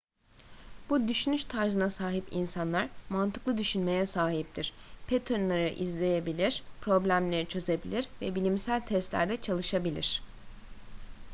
bu düşünüş tarzına sahip insanlar mantıklı düşünmeye sahiptir paternleri ezberleyebilir problemleri çözebilir ve bilimsel testlerde çalışabilir